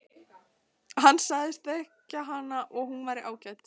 Hann sagðist þekkja hana og hún væri ágæt.